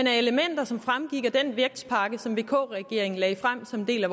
er elementer som fremgik af den vækstpakke som vk regeringen lagde frem som en del af